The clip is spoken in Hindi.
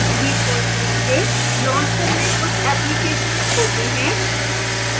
default रूप से launcher में कुछ applications होते हैं